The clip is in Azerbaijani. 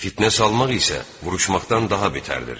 Fitnə salmaq isə vuruşmaqdan daha betərdir.